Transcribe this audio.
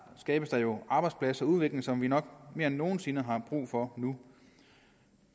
skabes der jo arbejdspladser og udvikling som vi nok mere end nogen sinde har brug for nu